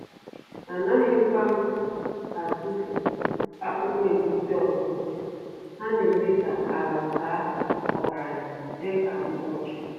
Anaghịkwa m atụfu akpụkpọ egusi ọzọ, ha n’eme ka ala baa ọgaranya dị ka mkpochi.